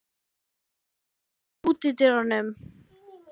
Guðmon, læstu útidyrunum.